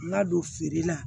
N ka don feere la